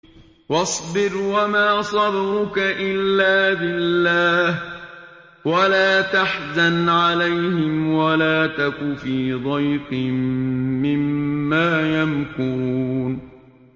وَاصْبِرْ وَمَا صَبْرُكَ إِلَّا بِاللَّهِ ۚ وَلَا تَحْزَنْ عَلَيْهِمْ وَلَا تَكُ فِي ضَيْقٍ مِّمَّا يَمْكُرُونَ